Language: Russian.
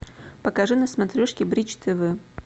покажи на смотрешке бридж тв